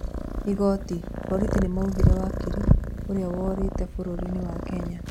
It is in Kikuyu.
Igoti: Borithi nĩmũragirĩ wakiri ũrĩa worĩtĩ bũrũrinĩ wa Kenya